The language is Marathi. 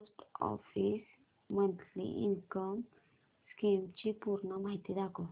post office monthly income scheme ची पूर्ण माहिती दाखव